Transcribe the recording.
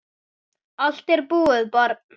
Allt er búið, barn.